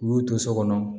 U y'u to so kɔnɔ